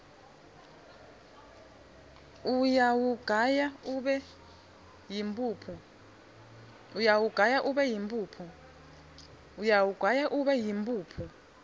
uyawugaya ube yimphuphu